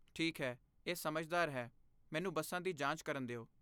ਠੀਕ ਹੈ, ਇਹ ਸਮਝਦਾਰ ਹੈ, ਮੈਨੂੰ ਬੱਸਾਂ ਦੀ ਜਾਂਚ ਕਰਨ ਦਿਓ।